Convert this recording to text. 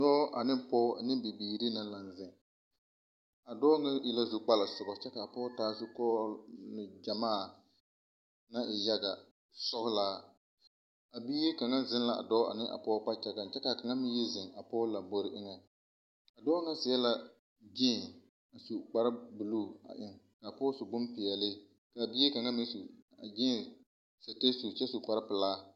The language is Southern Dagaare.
Dɔɔ ane pɔɔ ane bibiiri ka dɔɔ ŋa e la zukpala sobɔ kyɛ kaa pɔɔ taa Zukɔɔloŋ gyamaa kaa e yaga sɔlaa a bie kaŋa zeŋ la a dɔɔ ane a pɔɔ kpakyagaŋ kyɛ kaa kaŋa meŋ yi zeŋ a pɔɔ lambore eŋɛ a dɔɔ ŋa seɛ la gyeen a su kpare bluu a eŋ kaa pɔɔ su la bonpeɛɛle kyɛ kaa bie kaŋa meŋ su gyeen kyɛ su kpare pilaa.